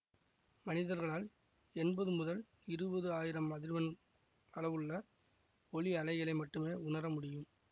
மனிதர்களால் எம்பது முதல் இருபது ஆயிரம் அதிர்வெண் அளவுள்ள ஒலி அலைகளை மட்டுமே உணர முடியும்